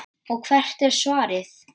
Og hvert er svarið?